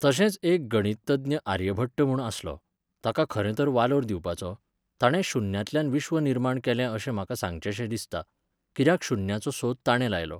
तशेंच एक गणितज्ञ आर्यभट्ट म्हूण आसलो, ताका खरें तर वालोर दिवपाचो. ताणें शुन्यांतल्यान विश्व निर्माण केलें अशें म्हाका सांगचेशें दिसता. किद्याकं शुन्याचो सोद ताणें लायलो